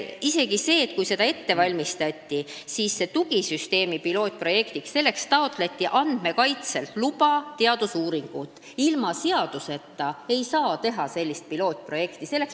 Isegi siis, kui seda kõike ette valmistati, taotleti tugisüsteemi katseprojektiks Andmekaitse Inspektsioonilt teadusuuringu luba – ilma seaduseta ei saa sellist pilootprojekti teha.